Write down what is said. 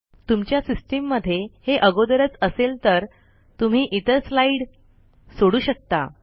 तुमच्या सिस्टम मध्ये हे अगोदरच असेल तर तुम्ही इतर स्लाइड सोडू शकता